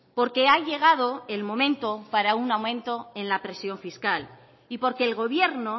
porque ha llegado el momento para un aumento en la presión fiscal y porque el gobierno